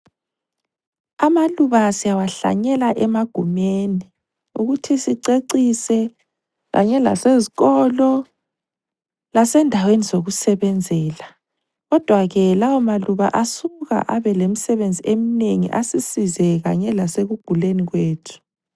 Amaluba siyawahlanyela emagumeni ukuthi sicecise kanye lasezikolo lasendaweni zokusebenzela kodwa ke lawo maluba asuka abe lemisebenzi eminengi asisize kanye lasekuguleni kwethu.